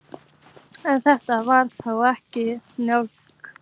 En þetta var þá ekki Njála.